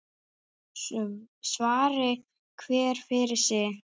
Svari hver fyrir sig.